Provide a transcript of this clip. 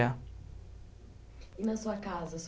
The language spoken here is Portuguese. á. E na sua casa,